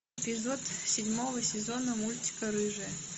эпизод седьмого сезона мультика рыжая